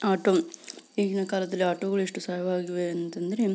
auto ಈಗಿನ ಕಾಲದಲ್ಲಿ ಆಟೋಗಳು ಎಷ್ಟು ಸಾವಿರ ಆಗಿದಾವೆ ಅಂತ ಅಂದ್ರೆ --